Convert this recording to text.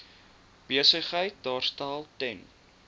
besigheid daarstel ten